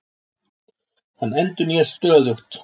Hann endurnýjast stöðugt.